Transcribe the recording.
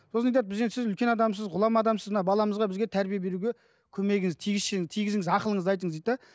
сосын айтады біз енді сіз үлкен адамсыз ғұлама адамсыз мына баламызға бізге тәрбие беруге көмегіңіз тигізсеңіз тигізіңіз ақылыңызды айтыңыз дейді де